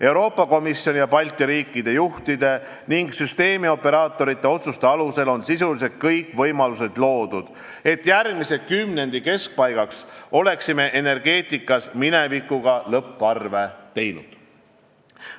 Euroopa Komisjoni ja Balti riikide juhtide ning süsteemioperaatorite otsuste alusel on sisuliselt loodud kõik võimalused, et järgmise kümnendi keskpaigaks oleksime energeetikas minevikuga lõpparve teinud.